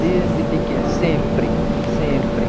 Desde pequena, sempre, sempre.